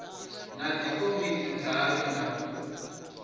na dzikomiti dzayo na u